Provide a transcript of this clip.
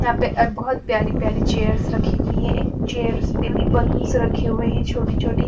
यहाँ पे और बहुत प्यारी-प्यारी चेयर्स रखी हुई है एक चेयर्स पे भी बलूनस रखे हुए हैं छोटी-छोटी --